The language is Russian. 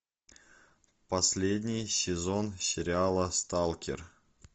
последний сезон сериала сталкер